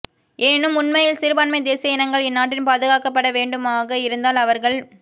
எனினும் உண்மையில் சிறுபான்மை தேசிய இனங்கள் இந்நாட்டில் பாதுகாக்கப்பட வேண்டுமாக இருந்தால் அவர்கள்